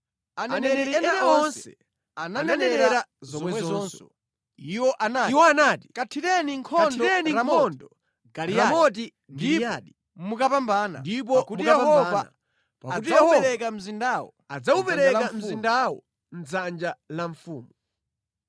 Aneneri ena onse ananenera zomwezonso. Iwo anati, “Kathireni nkhondo Ramoti Giliyadi ndipo mukapambana, pakuti Yehova adzawupereka mzindawo mʼdzanja la mfumu.”